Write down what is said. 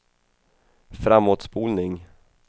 framåtspolning